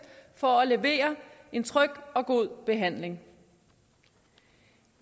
for at levere en tryg og god behandling